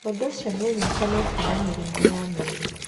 Ũndũ ũcio nĩ ũnyitanĩte na mĩrimũ ya mĩri.